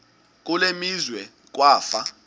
kule meazwe kwafa